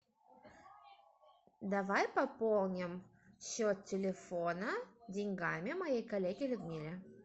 давай пополним счет телефона деньгами моей коллеге людмиле